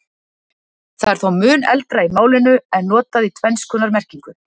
það er þó mun eldra í málinu en notað í tvenns konar merkingu